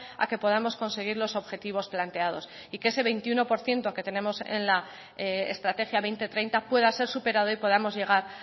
a que podamos conseguir los objetivos planteados y que ese veintiuno por ciento que tenemos en la estrategia dos mil treinta pueda ser superado y podamos llegar